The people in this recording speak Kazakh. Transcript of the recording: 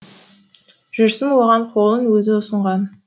жүрсін оған қолын өзі ұсынған